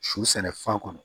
Su sɛnɛ fan kɔnɔ